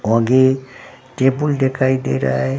आगे टेबुल दिखाई दे रहा है।